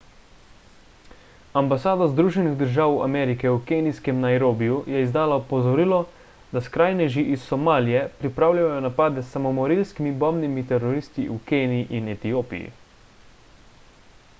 ambasada združenih držav amerike v kenijskem nairobiju je izdala opozorilo da skrajneži iz somalije pripravljajo napade s samomorilskimi bombnimi teroristi v keniji in etiopiji